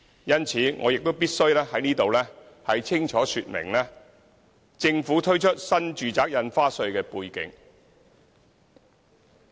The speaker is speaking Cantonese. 因此，我必須在此清楚說明政府推出新住宅印花稅的背景。